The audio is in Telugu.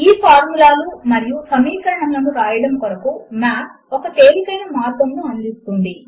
ఈ ఫార్ములాలు మరియు సమీకరణములను వ్రాయడము కొరకు మాత్ ఒక తేలికైన మార్గమును అందిస్తుంది